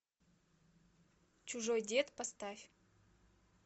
чужой дед поставь